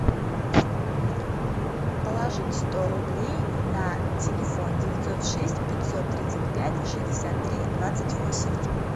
положить сто рублей на телефон девятьсот шесть пятьсот тридцать пять шестьдесят три двадцать восемь